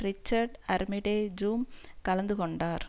Richard Armitage ஜும் கலந்து கொண்டார்